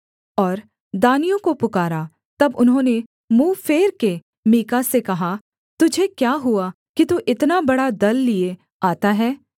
और दानियों को पुकारा तब उन्होंने मुँह फेर के मीका से कहा तुझे क्या हुआ कि तू इतना बड़ा दल लिए आता है